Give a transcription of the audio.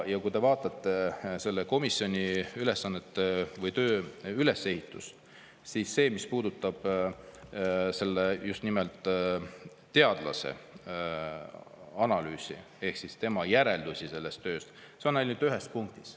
Kui te vaatate selle komisjoni ülesandeid või töö ülesehitust, siis see, mis puudutab selle teadlase analüüsi ehk tema järeldusi sellest tööst, on ainult ühes punktis.